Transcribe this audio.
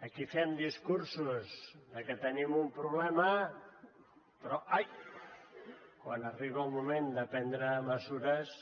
aquí fem discursos de que tenim un problema però ai quan arriba el moment de prendre mesures